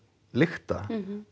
lykta